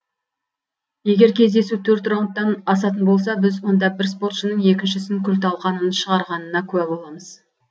егер кездесу төрт раундтан асатын болса біз онда бір спортшының екіншісін күл талқанын шығарғанына куә боламыз